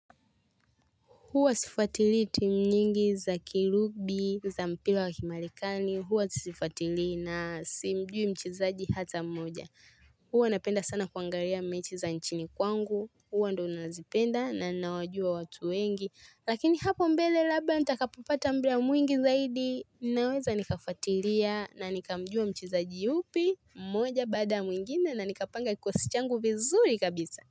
Huwa sifuatili team nyingi za kirubi, za mpira wa kimarekani, huwa sifuatili na simjui mchezaji hata mmoja. Huwa napenda sana kuangalia mechi za nchini kwangu, huwa ndo nazipenda na nawajua watu wengi. Lakini hapo mbele labda nitakapopata muda mwingi zaidi, naweza nikafuatilia na nikamjua mchezaji yupi mmoja baada mwingine na nikapanga kikosi changu vizuri kabisa.